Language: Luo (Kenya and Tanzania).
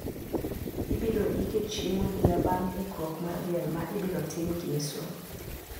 Ibiro ike chieng` Odira bang` ikruok mar liel ma ibirotim ngeso.